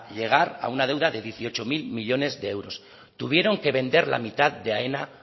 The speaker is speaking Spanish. llegar a una deuda de dieciocho mil millónes de euros tuvieron que vender la mitad de aena